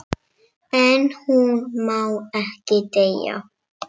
En hún má ekki deyja.